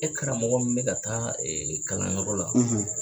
E karamɔgɔ min bɛ ka taa kalanyɔrɔ la.